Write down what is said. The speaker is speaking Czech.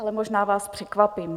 Ale možná vás překvapím.